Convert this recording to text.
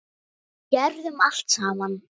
Gerðum allt saman.